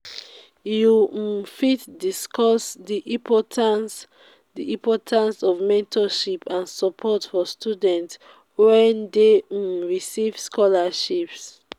you um fit discuss di importance di importance of mentorship and support for students wey dey um receive scholarships.